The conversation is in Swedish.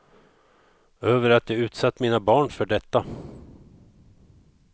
Över att jag utsatt mina barn för detta.